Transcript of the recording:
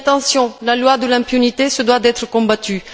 Mais attention, la loi de l'impunité doit être combattue.